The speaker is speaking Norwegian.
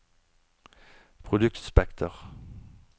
produktspekter